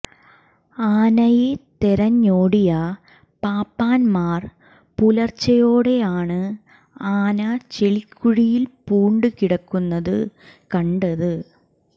ആനയെ തെരഞ്ഞോടിയ പാപ്പാൻമാർ പുലർച്ചയോടെയാണ് ആന ചെളിക്കുഴിൽ പൂണ്ട് കിടക്കുന്നത് കണ്ടത്